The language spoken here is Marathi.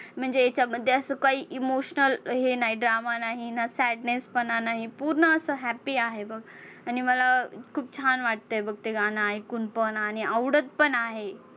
म्हणजे हेच्यामध्ये असं काही emotional हे नाही, drama नाही ना sadness पणा नाही पूर्ण असं happy आहे बघ. आणि मला खूप छान वाटतंय बघ ते गाणं ऐकून पण आणि आवडत पण आहे.